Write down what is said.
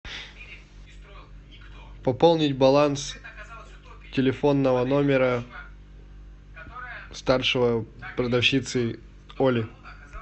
пополнить баланс телефонного номера старшего продавщицы оли